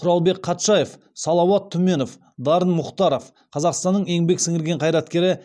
құралбек қатшаев салауат түменов дарын мұхтаров қазақстанның еңбек сіңірген қайраткері